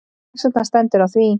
Hvers vegna stendur á því?